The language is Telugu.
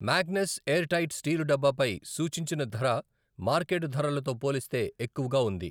మ్యాగ్నస్ ఎయిర్ టైట్ స్టీలు డబ్బా పై సూచించిన ధర మార్కెట్ ధరలతో పోలిస్తే ఎక్కువగా ఉంది.